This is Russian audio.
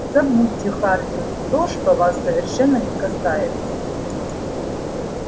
забудьте хардин то что вас совершенно не касается